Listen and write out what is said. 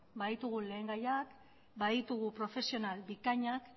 baditugu lehengaiak baditugu profesional bikainak